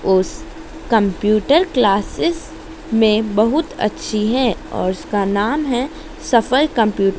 उस computer classes में बहुत अच्छी है और उसका नाम है सफल कंप्यू--